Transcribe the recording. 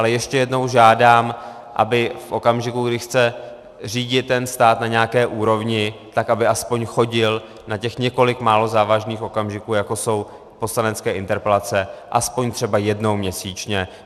Ale ještě jednou žádám, aby v okamžiku, kdy chce řídit ten stát na nějaké úrovni, tak aby aspoň chodil na těch několik málo závažných okamžiků, jako jsou poslanecké interpelace, aspoň třeba jednou měsíčně.